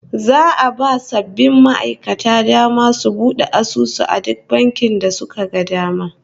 Za'a ba sabbin ma'aikatan dama su bude asusu a duk bankin da suka ga dama